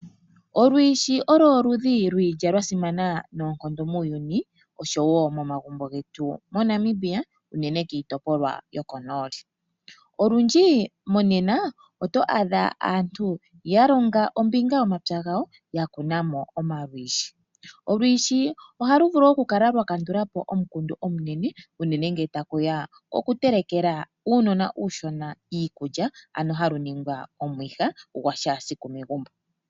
Olwiishi okwo oludhi lwiilya lwasimana noonkondo muuyuni oshowoo momagumbo getu moNamibia unene kiitopolwa yokonooli. Olundji monena oto adha aantu yalonga ombinga yomapya gawo, yakunamo omalwiishi. Olwiishi ohalu vulu okukala lwakandulapo omukundu omunene unene ngele tashi ya pokututelekela uunona uushona iikulya, ano halu ningwa omwiha gwashaasiku megumbo.